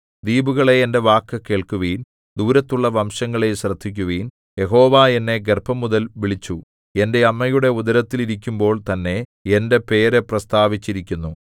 ദ്വീപുകളേ എന്റെ വാക്കു കേൾക്കുവിൻ ദൂരത്തുള്ള വംശങ്ങളേ ശ്രദ്ധിക്കുവിൻ യഹോവ എന്നെ ഗർഭംമുതൽ വിളിച്ചു എന്റെ അമ്മയുടെ ഉദരത്തിൽ ഇരിക്കുമ്പോൾ തന്നെ എന്റെ പേര് പ്രസ്താവിച്ചിരിക്കുന്നു